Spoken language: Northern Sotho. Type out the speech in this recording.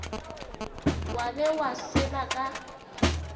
wa be wa seba ka